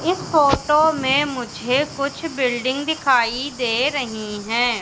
इस फोटो में मुझे कुछ बिल्डिंग दिखाई दे रही हैं।